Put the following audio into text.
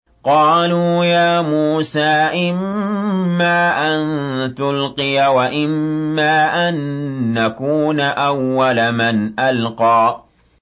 قَالُوا يَا مُوسَىٰ إِمَّا أَن تُلْقِيَ وَإِمَّا أَن نَّكُونَ أَوَّلَ مَنْ أَلْقَىٰ